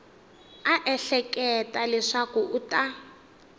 a ehleketa leswaku u ta